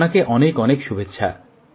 আপনাকে অনেক অনেক শুভেচ্ছা